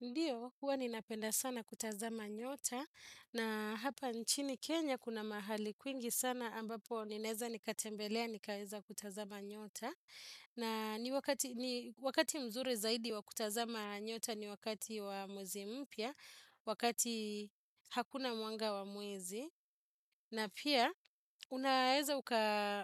Ndiyo, huwa ninapenda sana kutazama nyota na hapa nchini Kenya kuna mahali kwingi sana ambapo ninaeza nikatembelea, nikaeza kutazama nyota. Na ni wakati wakati mzuri zaidi wa kutazama nyota ni wakati wa mwezi mpya, wakati hakuna mwanga wa mwizi. Na pia unaeza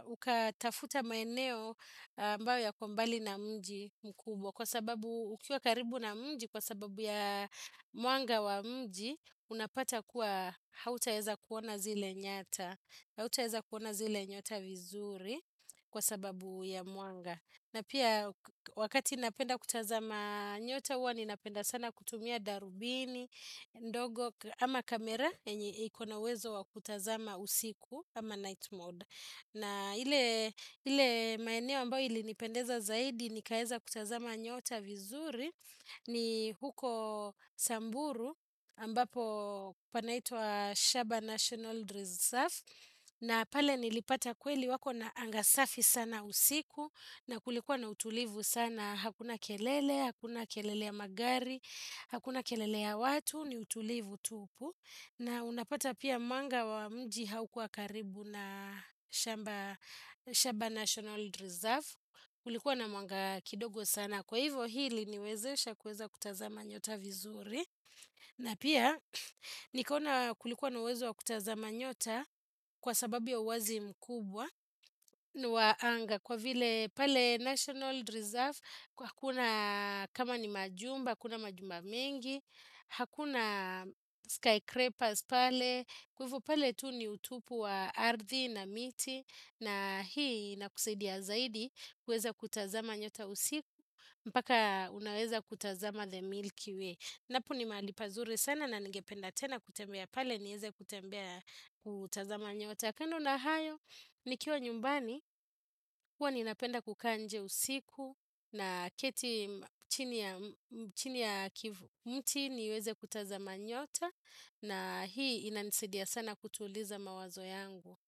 ukatafuta maeneo ambao yako mbali na mji mkubwa kwa sababu ukiwa karibu na mji kwa sababu ya mwanga wa mji unapata kuwa hautaeza kuona zile nyata hautaeza kuona zile nyota vizuri kwa sababu ya mwanga. Na pia wakati napenda kutazama nyota huwa, ninapenda sana kutumia darubini, ndogo, ama kamera, yenye iko na uwezo wa kutazama usiku, ama night mode. Na ile maeneo ambayo ilinipendeza zaidi, nikaeza kutazama nyota vizuri, ni huko Samburu, ambapo panaitwa Shaba National Reserve. Na pale nilipata kweli wako na anga safi sana usiku na kulikuwa na utulivu sana hakuna kelele, hakuna kelele ya magari hakuna kelele ya watu, ni utulivu tupu na unapata pia mwanga wa mji haukua karibu na Shamba National Reserve kulikuwa na mwanga kidogo sana kwa hivo hili iliniwezesha kuweza kutazama nyota vizuri na pia nikaona kulikuwa na uwezo wa kutazama nyota kwa sababiu ya uwazi mkubwa ni wa anga kwa vile pale national reserve kwa hakuna kama ni majumba hakuna majumba mingi hakuna skycrapers pale kwa hivo pale tu ni utupu wa ardhi na miti na hii inakusaidia zaidi kuweza kutazama nyota usiku mpaka unaweza kutazama the milkway napo ni mahali pazuri sana na ningependa kutembea tena pale niweze kutazama nyota. Kando na hayo, nikiwa nyumbani, huwa ninapenda kukaa nje usiku naketi chini ya mti niweze kutazama nyota na hii inanisedia sana kutuliza mawazo yangu.